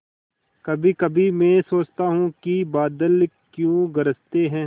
कभीकभी मैं सोचता हूँ कि बादल क्यों गरजते हैं